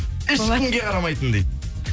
ешкімге қарамайтын дейді